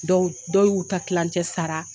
Dɔw dɔw y'u ta tilencɛ sara